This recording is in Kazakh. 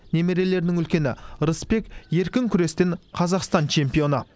немерелердің үлкені рысбек еркін күрестен қазақстан чемпионы